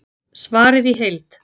Svarið í heild